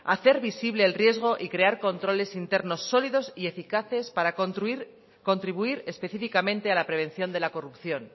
hacer visible el riesgo y crear controles internos sólidos y eficaces para contribuir específicamente a la prevención de la corrupción